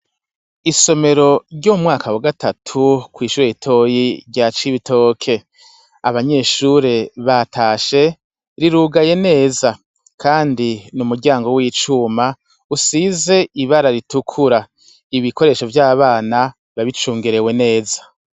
Isomero ryo mumwaka wa gatatu kw' ishure ritoyi rya cibitoke abanyeshure batashe rirugaye neza kandi ni umuryango w' icuma usize ibara ritukura ibikoresho vy' abana biba bicungerewe neza.